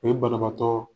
O ye banabaatɔ